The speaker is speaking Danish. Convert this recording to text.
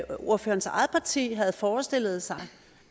ordførerens eget parti havde forestillet sig